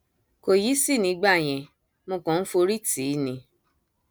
kò yìísì nígbà yẹn mo kàn ń forí tì í ni